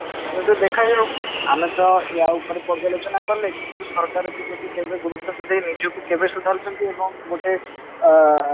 ଦେଖା ଯାଉ ଆମେ ତ ୟା ଉପରେ ପର୍ଜ୍ଯାଲୋଚନା କଲେ କିନ୍ତୁ ସରକାର ଗୁରୁତ୍ଵ ଦେଇ ନିଜ କୁ କେବେ ସୁଧାରୁଛନ୍ତି ଏବଂ ଗୋଟେ ଅ